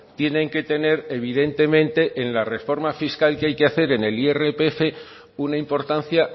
tienen que tener evidentemente en la reforma fiscal que hay que hacer en el irpf una importancia